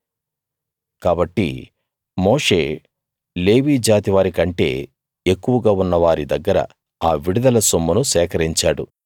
కాబట్టి మోషే లేవీ జాతివారి కంటే ఎక్కువగా ఉన్న వారి దగ్గర ఆ విడుదల సొమ్మును సేకరించాడు